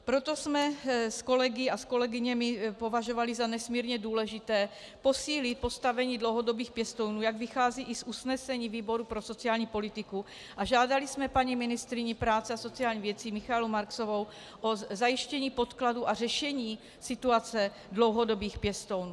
Proto jsme s kolegy a kolegyněmi považovali za nesmírně důležité posílit postavení dlouhodobých pěstounů, jak vychází i z usnesení výboru pro sociální politiku, a žádali jsme paní ministryni práce a sociálních věcí Michaelu Marksovou o zajištění podkladů a řešení situace dlouhodobých pěstounů.